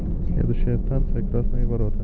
следующая станция красные ворота